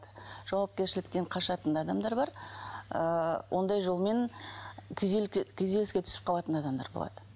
жауапкершіліктен қашатын адамдар бар ыыы ондай жолмен күйзеліске түсіп қалатын адамдар болады